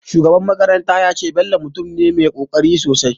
Shugaban makaranta ya ce, Bello mutum ne mai ƙoƙarin aiki sosai